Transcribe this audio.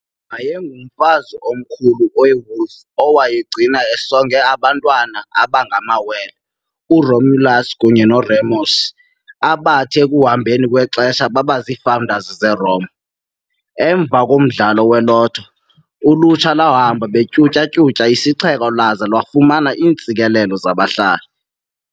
Wayengumfazi Omkhulu we-Wolf owayegcine esonga abantwana ababengamawele, u-Romulus kunye no-Remus, abathi ekuhambeni kwexesha babaziifounders zeRome. Emva komdlalo we-lotho, ulutsha lwahamba betyhutyha-tyhutyha isixeko lwaza lwafumana iintsikelelo zabahlali.